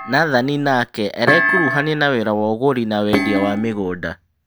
Nathani nake arekuruhania na wĩra wa ũgũri na wendia wa mĩgũnda.